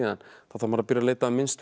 þá þarf maður að byrja að leita að mynstrum